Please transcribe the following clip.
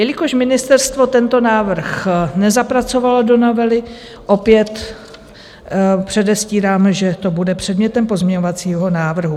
Jelikož ministerstvo tento návrh nezapracovalo do novely, opět předestírám, že to bude předmětem pozměňovacího návrhu.